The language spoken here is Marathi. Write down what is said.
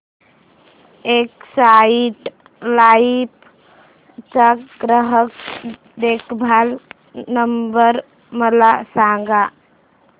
एक्साइड लाइफ चा ग्राहक देखभाल नंबर मला सांगा